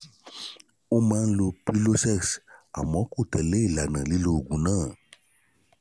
ó máa ń lo prilosex àmọ́ kò ń tẹ̀lẹ́ ìlànà lílo oògùn náà